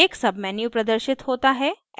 एक menu प्रदर्शित होता है